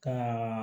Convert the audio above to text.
Ka